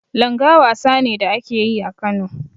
Langa wasa ne da ake yi a Kano.